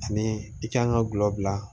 Ani i kan ka gulɔ bila